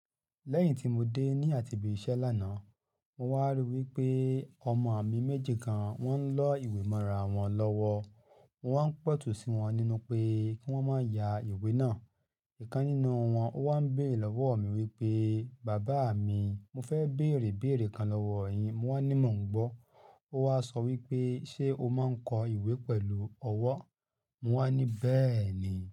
Lẹ́yìn tí mo dé ní àtibí iṣẹ́ lánàá, mo wá ríi wí pé ọmọ mi méjì kan wọ́n ń lọ ìwé mọ̀rà wọn lọ́wọ́. Mo wá ń pẹ̀tù sí wọn nínú pé kí wọ́n má ya ìwé náà. Ìkan nínú wọn ó wá ń béèrè lọ́wọ́ mi wí pé, "bàbá mi, mo fẹ́ béèrè béèrè kan lọ́wọ́ ọ yín." Mo wá ní, "mo ń gbọ́." Ó wá sọ wí pé, "ṣé o máa ń kọ ìwé pẹ̀lú ọwọ́?" Mo wá ní, "bẹ́ẹ̀ ni."